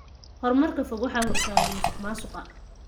Horumarka fog waxaa hortaagan musuqmaasuqa.